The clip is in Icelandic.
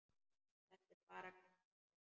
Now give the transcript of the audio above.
Þetta er bara gestur.